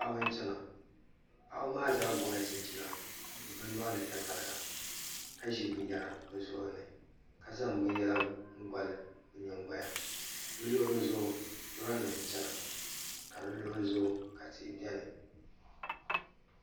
Paɣaba n chɛna paɣaba maa zaa gobila chinchina bi nyoɣani tatariga ka ʒi binyɛra bi zuɣurini ka zaŋ binyɛra goli bi nyingoya ni bi luɣuli zuɣu lora nim n chɛna ka bi luɣuli zuɣu ka tihi biɛni